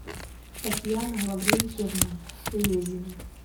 татьяна лаврентьевна лезина